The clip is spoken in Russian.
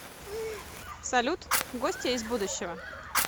салют гостья из будущего